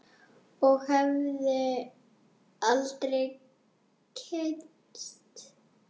Og hefði aldrei kynnst